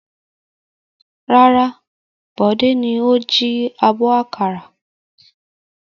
Rárá, Bọ̀dé ni ó jí abọ́ àkàrà.